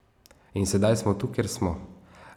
In sedaj smo tu, kjer smo.